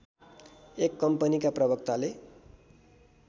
एक कम्पनीका प्रवक्ताले